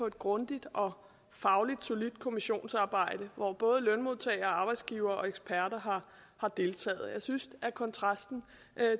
et grundigt og fagligt solidt kommissionsarbejde hvor både lønmodtagere og arbejdsgivere og eksperter har deltaget jeg synes at kontrasten